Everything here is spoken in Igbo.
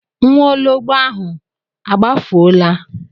Nwaologbo ahụ a gbafuola?